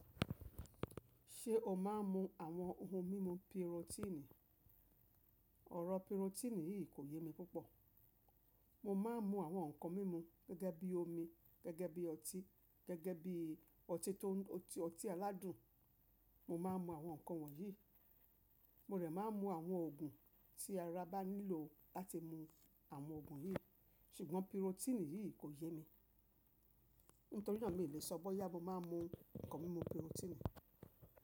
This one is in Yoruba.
Ṣé o máa ń mu àwọn ohun mímu pirotíìnì? Ọ̀rọ̀ pirotíìnì yìí kò yé mi púpọ̀. Mo máa ń mu àwọn nǹkan mímu gẹ́gẹ́ bí omi, gẹ́gẹ́ bí ọtí, gẹ́gẹ́ bí ọtí tó ọtí ọtí aládùn. Mo máa ń mu àwọn nǹkan wọ̀nyí. Mo dẹ̀ máa ń mu àwọn òògùn tí ara bá nílò láti mu àwọn òògùn yìí. Ṣùgbọ́n pirotíìnì yìí kò yé mi. Nítorí náà mi ò lè sọ bóyá mo máa ń mu nǹkan mímu pirotíìnì.